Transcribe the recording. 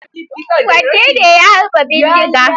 Wane ne ya harba bindiga?